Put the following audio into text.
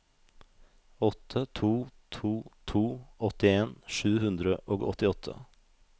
åtte to to to åttien sju hundre og åttiåtte